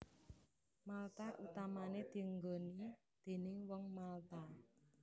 Malta utamané dienggoni déning Wong Malta